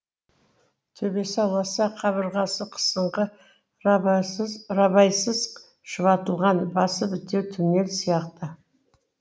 төбесі аласа қабырғасы қысыңқы рабайсыз шұбатылған басы бітеу туннель сияқты